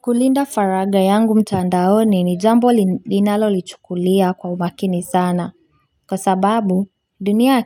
Kulinda faraga yangu mtandaoni ni jambo ninalolichukulia kwa umakini sana. Kwa sababu dunia ya